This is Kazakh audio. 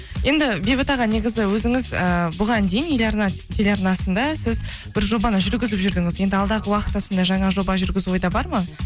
енді бейбіт аға негізі өзіңіз ііі бұған дейін еларна телеарнасында сіз бір жобаны жүргізіп жүрдіңіз енді алдағы уақытта сондай жаңа жоба жүргізу ойда бар ма